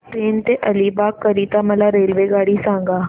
पेण ते अलिबाग करीता मला रेल्वेगाडी सांगा